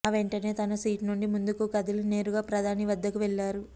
ఆ వెంటనే తన సీటు నుండి ముందుకు కదిలి నేరుగా ప్రధాని వద్దకు వెళ్లారు